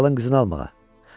Kralın qızını almağa.